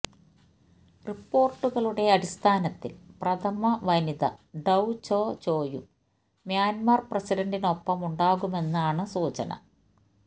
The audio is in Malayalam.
റിപ്പോര്ട്ടുകളുടെ അടിസ്ഥാനത്തില് പ്രഥമ വനിത ഡൌ ചോ ചോയും മ്യാന്മര് പ്രസിഡന്റിനൊപ്പമുണ്ടാകുമെന്നാണ് സൂചന